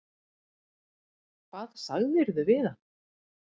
Hvað sagðirðu við hana?